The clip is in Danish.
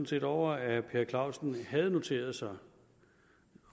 set over at herre per clausen havde noteret sig